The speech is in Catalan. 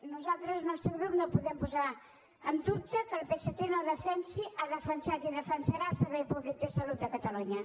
nosaltres el nostre grup no podem posar en dubte que el psc no defensi ha defensat i defensarà el servei públic de salut de catalunya